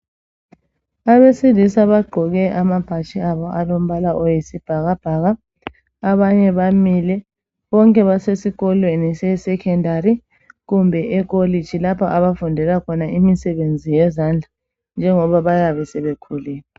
Abesilisa bagqoke amabhatshi abo aleombala oyosibhakabha abanye bamile bonke basesikolweni se secondary kumbe ekolitshi lapha abafundela khona imisebenzi yezandla njengoba bayabe sebekhulile